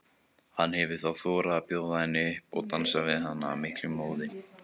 Hann hefur þá þorað að bjóða henni upp og dansar við hana af miklum móði.